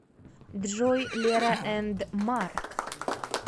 джой лера энд марк